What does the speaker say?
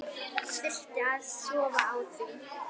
Þurfti að sofa á því.